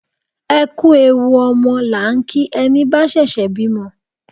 Ẹ kú ewu ọmọ la ń kí ẹni bá ṣẹ̀ṣẹ̀ bímọ